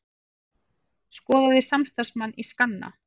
Skoðaði samstarfsmann í skanna